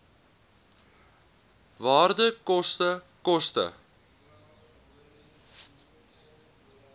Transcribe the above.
waarde koste koste